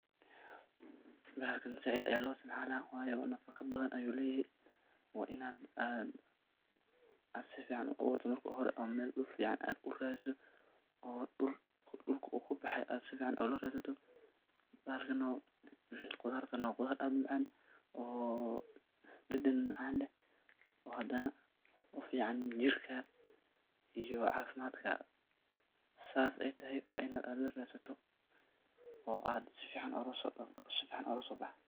Bahalkan zaid ayaa loo isticmala waa inaad marki u hore aad si fican u aburtaa oo dhul fican aad galisa . Oo dhulka u kabaxe aad si fican ola qabsato ,khudartana waa khudaar aad u macan oo dhadan macan leh, oo hadana u fican jirka iyo cafimadka ,sa hadey tahay waa inaad u radsato oo si fican ola so baxdo.